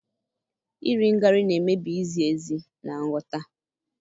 iri ngarị na-emebi izi ezi na nghọta.